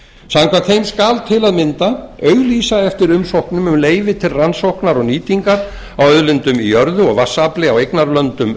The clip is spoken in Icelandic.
samkvæmt þeim skal til að mynda auglýsa eftir umsóknum um leyfi til rannsóknar og nýtingar á auðlindum í jörðu og vatnsafli á eignarlöndum